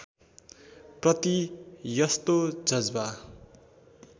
प्रति यस्तो जज्बा